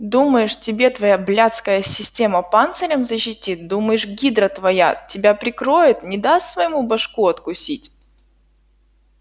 думаешь тебе твоя блядская система панцирем защитит думаешь гидра твоя тебя прикроет не даст своему башку откусить